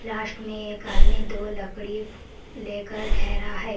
Last में एक आदमी दो लकड़ी लेकर ठहरा है।